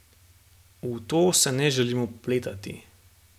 V to se ne želim vpletati.